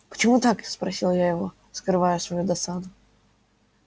почему так спросил я его скрывая свою досаду